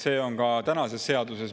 See on ka tänases seaduses.